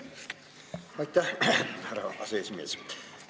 Aitäh, härra aseesimees!